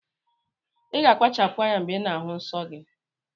Iga akpachapu anya mgbe ina ahu nnsọgi!!